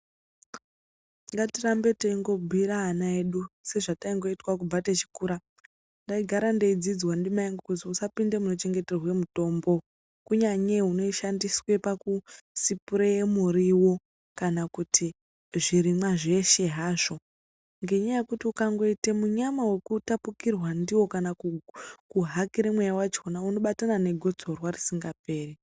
Ngatirambei teingobhuira ana edu sezvataingoitwa kubva techikura. Ndaigara ndeidzidzwa ndimai angu kuti usapinde munochengeterwa mutombo kunyanye unoshandiswa pakusipureya muriwo kuna kuti zvirimwa zveshe hazvo, ngenyaya yekuti ukangoita munyama wekutapukirwa ndiwo kana kuhakirw mweya wacho unobatana negotsorwa risingaperi.